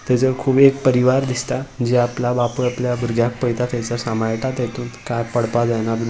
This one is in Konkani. तेजो खूप एक परिवार दिसता जे आपला बापूय आपल्या भुरग्याक पळयता थयसर सांभाळता तेतून काय पडपाक जायना बिन --